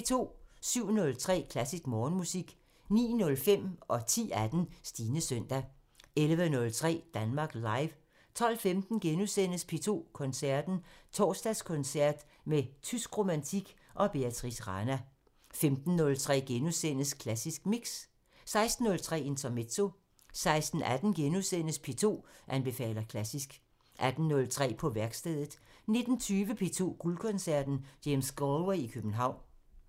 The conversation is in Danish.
07:03: Klassisk Morgenmusik 09:05: Stines søndag 10:18: Stines søndag 11:03: Danmark Live 12:15: P2 Koncerten – Torsdagskoncert med tysk romantik og Beatrice Rana * 15:03: Klassisk Mix * 16:03: Intermezzo 16:18: P2 anbefaler klassisk * 18:03: På værkstedet 19:20: P2 Guldkoncerten – James Galway i København